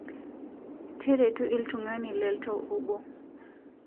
Teretu ltung'ani teltau obo